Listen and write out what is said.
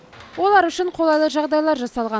олар үшін қолайлы жағдайлар жасалған